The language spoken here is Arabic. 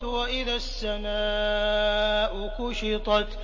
وَإِذَا السَّمَاءُ كُشِطَتْ